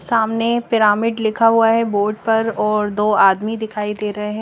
सामने पिरामिट लिखा हुआ है बोर्ड पर और दो आदमी दिखाई देरे है।